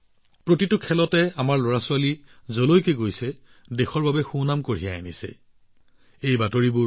প্ৰতিখন খেলতে আমাৰ লৰাছোৱালী যলৈ গৈ থাকে দেশৰ বাবে কিবা নহয় কিবা এটা কৰি ঘূৰি আহে